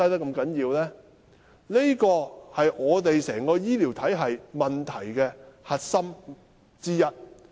這是香港整個醫療體系的核心問題之一。